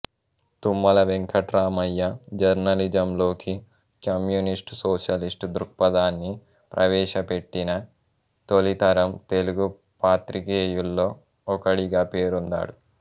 తుమ్మల వెంకట్రామయ్య జర్నలిజంలోకి communist socialist దృక్పథాన్ని ప్రవేశపెట్టిన తొలి తరం తెలుగు పాత్రికేయుల్లో ఒకడిగా పేరొందాడు